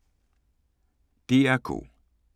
DR K